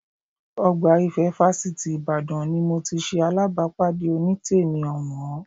Ọgbà Ìfẹ́ fásitì Ìbàdàn ni mo ti ṣe alábàápàdé Onítèmi ọ̀wọ́n